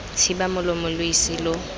thiba molomo lo ise lo